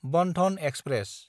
Bandhan express